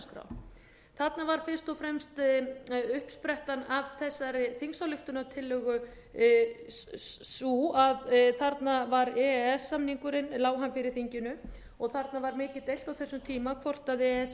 stjórnarskrár þarna var fyrst og fremst uppsprettan að þessari þingsályktunartillögu sú að þarna var e e s samningurinn lá hann fyrir þinginu og þarna var mikið deilt á þessum tíma hvort e e s